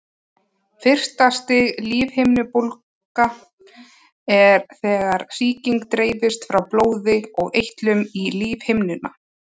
Fyrsta stigs lífhimnubólga er þegar sýking dreifist frá blóði og eitlum í lífhimnuna.